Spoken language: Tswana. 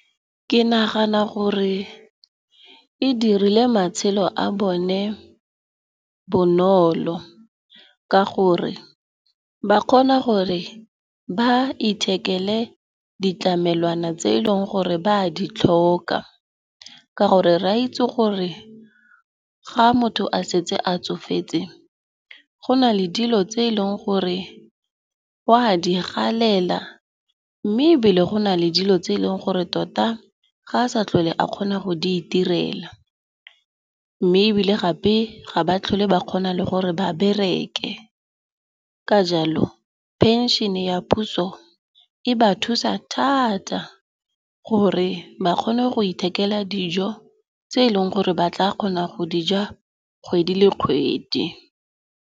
Ke nagana gore e dirile matshelo a bone bonolo, ka gore ba kgona gore ba ithekele ditlamelwana tse eleng gore ba a di tlhoka. Ka gore, re a itse gore ga motho a setse a tsofetse go na le dilo tse eleng gore wa di galela mme ebile go na le dilo tse eleng gore tota ga a sa tlhole a kgona go di itirela. Mme ebile gape ga ba tlhole ba kgona le gore ba bereke. Ka jalo, phenšene ya puso e ba thusa thata gore ba kgone go ithekela dijo tse eleng gore ba tla kgona go dija kgwedi le kgwedi.